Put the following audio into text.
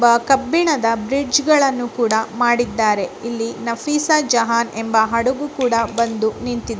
ಕಬ್ಬಿಣದ ಬ್ರಿಡ್ಜ್ಗ ಳನ್ನು ಕೂಡ ಮಾಡಿದ್ದಾರೆ ಇಲ್ಲಿ ನಫೀಸಾ ಜಹಾನ್ ಎಂಬ ಹಡಗು ಕೂಡ ಬಂದು ನಿಂತಿದೆ.